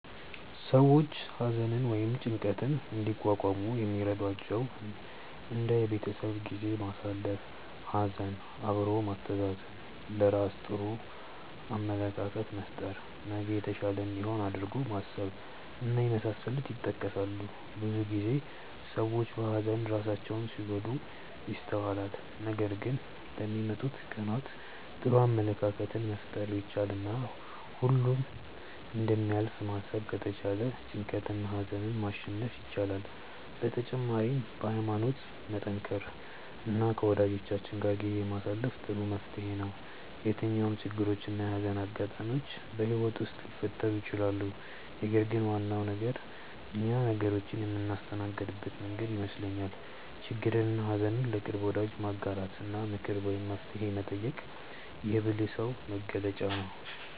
ሰዎች ሀዘንን ወይም ጭንቀትን እንዲቋቋሙ የሚረዷቸው እንደ የቤተሰብ ጊዜ ማሳለፍ፣ ሀዘን አብሮ ማስተዛዘን፣ ለራስ ጥሩ አመለካከት መፍጠር፣ ነገ የተሻለ እንደሚሆን አድርጎ ማሰብ እና የመሳሰሉት ይጠቀሳሉ። ብዙ ጊዜ ሰዎች በሀዘን ራሳቸውን ሲጎዱ ይስተዋላል ነገር ግን ለሚመጡት ቀናት ጥሩ አመለካከትን መፍጠር ቢቻል እና ሁሉም እንደሚያልፍ ማሰብ ከተቻለ ጭንቀትንና ሀዘንን ማሸነፍ ይቻላል። በተጨማሪም በሀይማኖት መጠንከር እና ከወጃጆቻችን ጋር ጊዜ ማሳለፍ ጥሩ መፍትሔ ነው። የትኛውም ችግሮች እና የሀዘን አጋጣሚዎች በህይወት ውስጥ ሊፈጠሩ ይችላሉ ነገር ግን ዋናው ነገር እኛ ነገሮችን የምናስተናግድበት መንገድ ይመስለኛል። ችግርንና ሀዘን ለቅርብ ወዳጅ ማጋራት እና ምክር ወይም መፍትሔ መጠየቅ የብልህ ሰው መገለጫ ነው።